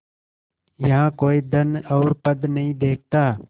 यहाँ कोई धन और पद नहीं देखता